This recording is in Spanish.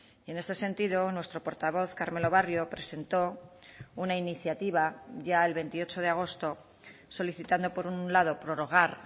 y en este sentido nuestro portavoz carmelo barrio presentó una iniciativa ya el veintiocho de agosto solicitando por un lado prorrogar